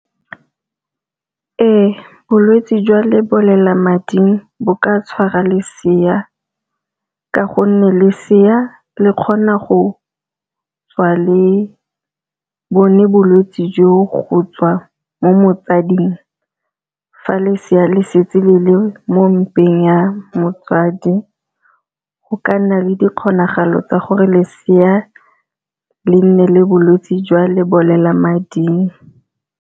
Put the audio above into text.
Ee, bolwetsi jwa lebolelamading bo ka tshwara lesea, ka gonne lesea le kgona go tswa le bone bolwetsi jo go tswa mo motsading fa le seya le setse le le mo dimpeng ya motsadi. Go ka nna le di kgonagalo tsa gore lesea le nne le bolwetse jwa lebolelamading.